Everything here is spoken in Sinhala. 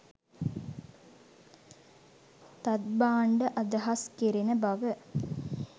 තත් භාණ්ඩ අදහස් කෙරෙන බව